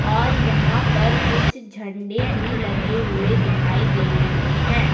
और यहां पर कुछ झंडे भी लगे हुए दिखाई दे रहे हैं।